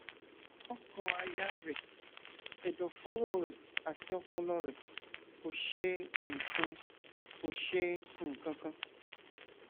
ọkànàyà rẹ ẹdọfóró rẹ àti ọpọlọ rẹ kò ṣe nǹkan kò ṣe nǹkan kan